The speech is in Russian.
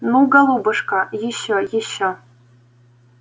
ну голубушка ещё ещё